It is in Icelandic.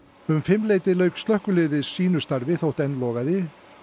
um fimmleytið lauk slökkviliðið sínu starfi þótt enn logaði